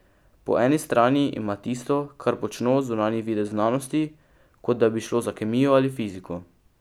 Po eni strani ima tisto, kar počno, zunanji videz znanosti, kot da bi šlo za kemijo ali fiziko.